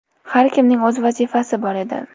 Har kimning o‘z vazifasi bor edi.